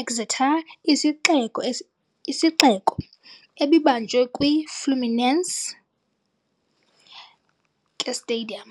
Exeter isixeko Isixeko, ebibanjwe kwi - Fluminense ke stadium.